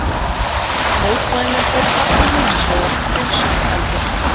Mótmælendur hafna hins vegar hreinsunareldinum.